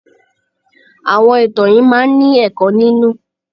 Àwọn ìtàn yìí máa ń ní ẹ̀kọ́ nínú.